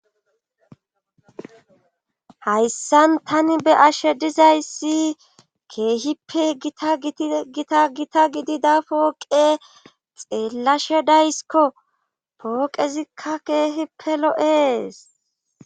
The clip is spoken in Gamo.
hayssan tani be' ashe dizayssi keehippe itagita gita gidida pooqe xeellashe daysikko pooqezikka keehipe l0e'es